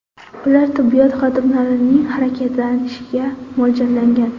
Ular tibbiyot xodimlarining harakatlanishiga mo‘ljallangan.